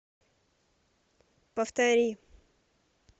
повтори